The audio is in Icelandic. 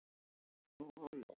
En raunin er önnur.